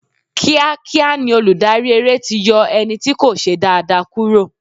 Kíá kíá ni olùdarí eré ti yọ ẹni tí kò ṣe dáa dáa kúrò.